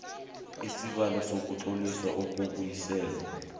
isibawo sokutloliswa kokubuyiselwa